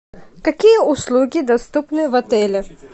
какие услуги доступны в отеле